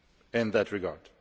in that regard.